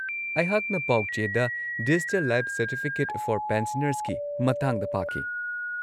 ꯑꯩꯍꯥꯛꯅ ꯄꯥꯎꯆꯦꯗ digital life certificate for ꯄꯦꯟꯁꯅꯔꯁꯀꯤ ꯃꯇꯥꯡꯗ ꯄꯥꯈꯤ꯫